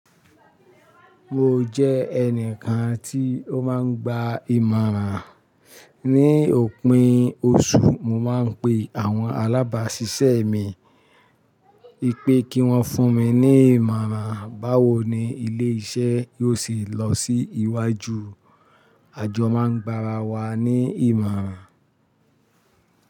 Mo jẹ́ ẹnìkan tí ó máa ń gba ìmọ̀ràn. Ni òpin oṣù, mo máa ń pe àwọn alábáṣiṣẹ́ mi pé kí wọ́n fún mi ní ìmọ̀ràn báwo ni ilé-iṣẹ́ yóò sì lọ sí iwájú. Àjọ máa ń gbara wa ní ìmọ̀ràn.